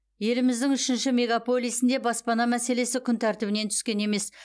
еліміздің үшінші мегаполисінде баспана мәслесі күн тәртібінен түскен емес